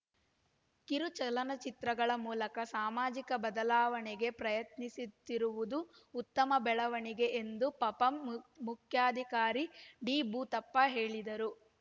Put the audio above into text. ಕಿರು ಚಲನಚಿತ್ರಗಳ ಮೂಲಕ ಸಾಮಾಜಿಕ ಬದಲಾವಣೆಗೆ ಪ್ರಯತ್ನಿಸುತ್ತಿರುವುದು ಉತ್ತಮ ಬೆಳವಣಿಗೆ ಎಂದು ಪಪಂ ಮು ಮುಖ್ಯಾಧಿಕಾರಿ ಡಿಭೂತಪ್ಪ ಹೇಳಿದರು